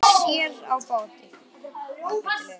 Sér á báti.